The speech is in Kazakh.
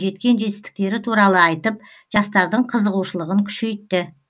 жеткен жетістіктері туралы айтып жастардың қызығушылығын күшейтті